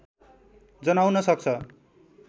जनाउन सक्छ